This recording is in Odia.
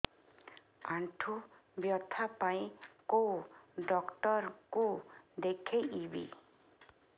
ଆଣ୍ଠୁ ବ୍ୟଥା ପାଇଁ କୋଉ ଡକ୍ଟର ଙ୍କୁ ଦେଖେଇବି